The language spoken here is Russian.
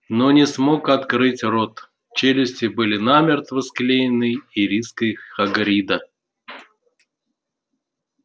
но не смог открыть рот челюсти были намертво склеены ириской хагрида